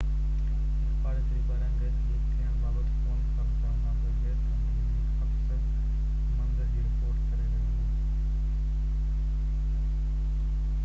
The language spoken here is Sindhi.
هڪ پاڙيسري پاران گئس ليڪ ٿيڻ بابت فون ڪال ڪرڻ کانپوءِ گئس ڪمپني جو هڪ آفيسر منظر جي رپورٽ ڪري رهيو هو